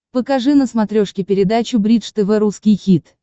покажи на смотрешке передачу бридж тв русский хит